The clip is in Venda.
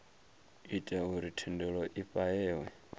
ita uri thendelo i fhahehwe